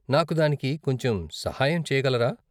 నాకు దానికి కొంచెం సహాయం చేయగలరా?